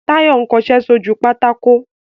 Táyọ̀ ń kọṣẹ́ sójú pátákó